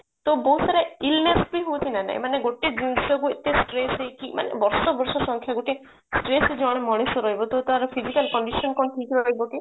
ତ ବହୁତ ସାରା illness ବି ହଉଛି ନା ନାଇଁ ଏମାନେ ଗୋଟେ ଜିନିଷ କୁ ଏତେ stress ହେଇକି ମାନେ ବର୍ଷ ବର୍ଷ ସଂଖ୍ୟା ଗୋଟେ stress ରେ ଜଣେ ମଣିଷ ରହିବ ତ ତାର physical condition କଣ ଠିକ ରହିବ କି